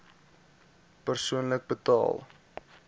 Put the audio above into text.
persoonlik betaal